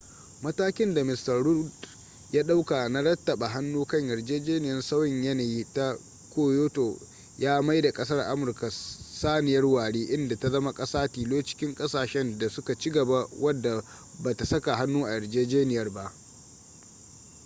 matakin da mista rudd ya dauka na rattaba hannu kan yarjejeniyar sauyin yanayi ta kyoto ya maida kasar amurka saniyar ware inda ta zama kasa tilo cikin kasashen da su ka ci gaba wadda ba ta saka hannu a yarjejeniyar ba